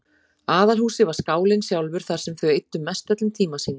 Aðalhúsið var skálinn sjálfur þar sem þau eyddu mestöllum tíma sínum.